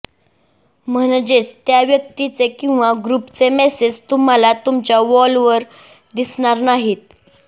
म्हणजेच त्या व्यक्तीचे किंवा ग्रुपचे मेसेज तुम्हाला तुमच्या वॉलवर दिसणार नाहीत